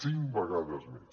cinc vegades més